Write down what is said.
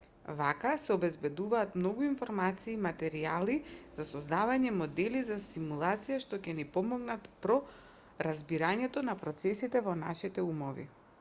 вака се обезбедуваат многу информации и материјали за создавање модели за симулација што ќе ни помогнат про разбирањето на процесите во нашите умови